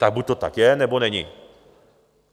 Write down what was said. Tak buď to tak je, nebo není.